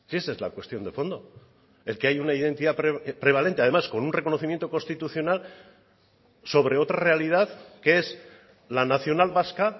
esa es la cuestión de fondo el que hay una identidad prevalente además con un reconocimiento constitucional sobre otra realidad que es la nacional vasca